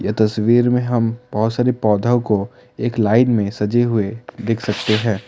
इस तस्वीर में हम बहुत सारे पौधों को एक लाइन में सजे हुए देख सकते हैं ।